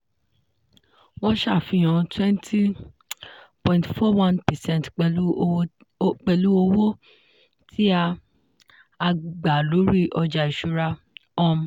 wọ́n ṣàfihàn 20.41 percent pẹ̀lú owó tí a a gba lórí ọjà ìṣúra. um